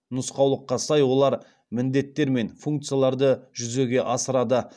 нұсқаулыққа сай олар міндеттер мен функцияларды жүзеге асырады